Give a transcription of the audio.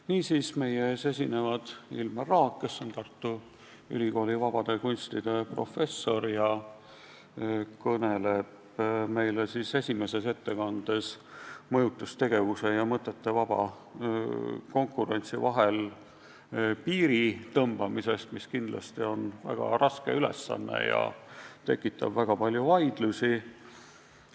Niisiis, meie ees esinevad Ilmar Raag, kes on Tartu Ülikooli vabade kunstide professor ning kõneleb meile esimeses ettekandes mõjutustegevuse ja mõtete vaba konkurentsi vahel piiri tõmbamisest, mis kindlasti on väga raske ülesanne ja tekitab palju vaidlusi.